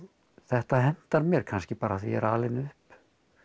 þetta hentar mér kannski bara af því ég er alinn upp